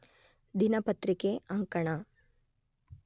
ದಿನಪತ್ರಿಕೆ ಅಂಕಣ